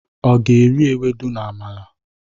ọ ga eri ewudo na amala?